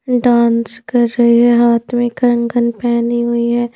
Dance कर रही है हाथ में कंगन पहनी हुई है ।